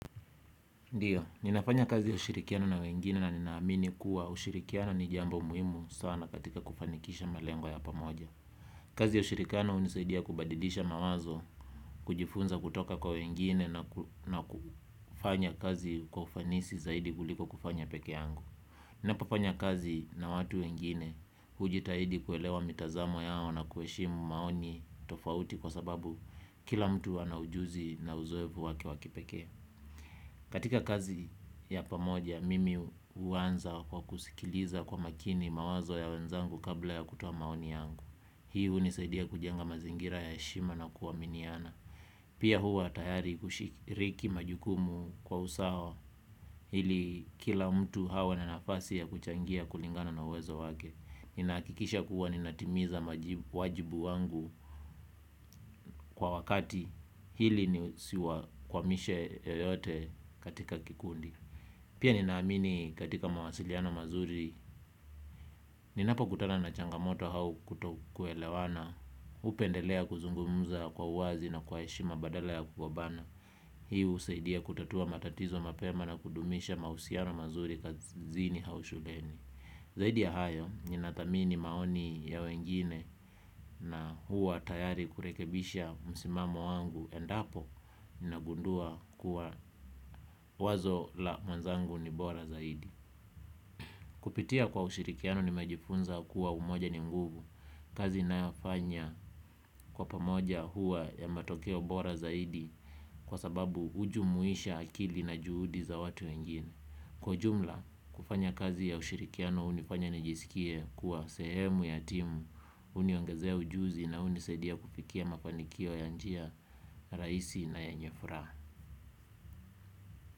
Ndiyo, ninafanya kazi kushirikiana na wengine na ninaamini kuwa ushirikiano ni jambo muhimu sana katika kufanikisha melengo ya pamoja. Kazi ya ushirikiano hunisaidia kubadilisha mawazo, kujifunza kutoka kwa wengine na kufanya kazi kwa ufanisi zaidi kuliko kufanya peke yangu. Ninapo fanya kazi na watu wengine hujitahidi kuelewa mitazamo yao na kuheshimu maoni tofauti kwa sababu kila mtu ana ujuzi na uzoefu wake wa kipekee. Katika kazi ya pamoja, mimi huanza kwa kusikiliza kwa makini mawazo ya wenzangu kabla ya kutoa maoni yangu. Hiu hunisaidia kujenga mazingira ya heshima na kuaminiana. Pia huwa tayari kushikiriki majukumu kwa usawa ili kila mtu awe na nafasi ya kuchangia kulingana na uwezo wake. Ninahakikisha kuwa ninatimiza wajibu wangu kwa wakati ili nisi wa kwamishe yoyote katika kikundi. Pia ninaamini katika mawasiliano mazuri ninapo kutana na changamoto au kuto kuelewana, hupendelea kuzungumza kwa uwazi na kwa heshima badala ya kugombana. Hii husaidia kutatua matatizo mapema na kudumisha mahusiano mazuri kazini au shuleni. Zaidi ya hayo ninadhamini maoni ya wengine na huwa tayari kurekebisha msimamo wangu endapo ninagundua wazo la mwenzangu ni bora zaidi. Kupitia kwa ushirikiano nimejifunza kuwa umoja ni nguvu kazi ninayofanya kwa pamoja huwa ya matokeo bora zaidi kwa sababu hujumuisha akili na juhudi za watu wengini. Kwa jumla, kufanya kazi ya ushirikiano hunifanya nijisikie kuwa sehemu ya timu huniongezea ujuzi na hunisaidia kufikia mafanikio ya njia rahisi na yenye furaha.